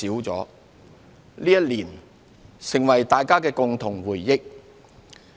這一年成為了大家的共同回憶。